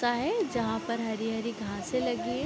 है जहाँ पर हरी-हरी घांसे लगी है।